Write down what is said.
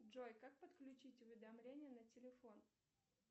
джой как подключить уведомления на телефон